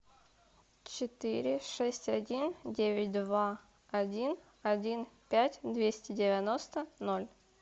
четыре шесть один девять два один один пять двести девяносто ноль